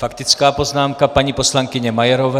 Faktická poznámka paní poslankyně Majerové.